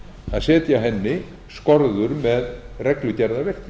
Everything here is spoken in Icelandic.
að setja henni skorður með reglugerðarverki